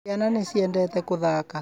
Ciana nĩ ciendete gũthaaka